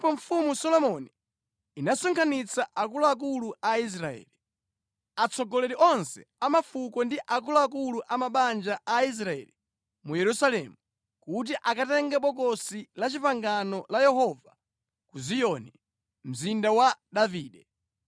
Pamenepo Mfumu Solomoni inasonkhanitsa akuluakulu a Israeli, atsogoleri onse a mafuko ndi akuluakulu a mabanja a Aisraeli mu Yerusalemu, kuti akatenge Bokosi la Chipangano la Yehova ku Ziyoni, Mzinda wa Davide.